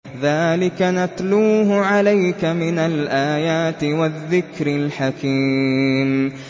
ذَٰلِكَ نَتْلُوهُ عَلَيْكَ مِنَ الْآيَاتِ وَالذِّكْرِ الْحَكِيمِ